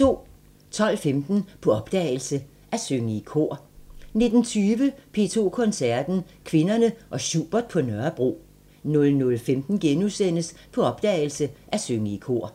12:15: På opdagelse – At synge i kor 19:20: P2 Koncerten – Kvinderne og Schubert på Nørrebro 00:15: På opdagelse – At synge i kor *